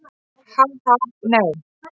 Ha, ha, nei.